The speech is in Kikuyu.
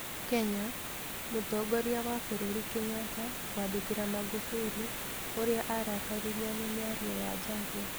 Kenya: mũtongoria wa bũrũri Kenyatta kwandĩkĩra Magufuli úrĩa arakaririo nĩ mĩario ya Jaguar.